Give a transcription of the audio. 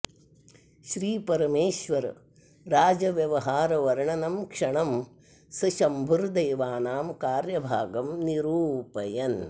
श्री परमेश्वर राजव्यवहार वर्णनं क्षणं स शम्भुर्देवानां कार्यभागं निरूपयन्